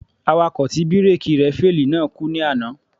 Awakọ̀ tí bíréèkì rẹ̀ féèlì náà kú ní àná.